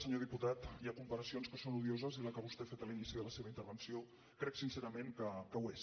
senyor diputat hi ha comparacions que són odio ses i la que vostè ha fet a l’inici de la seva intervenció crec sincerament que ho és